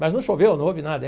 Mas não choveu, não houve nada.